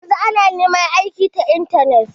Yanzu ana neman aiki ta intanet.